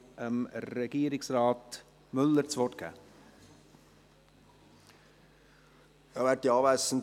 Ich darf Regierungsrat Müller das Wort geben.